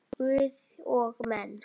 Guð og menn.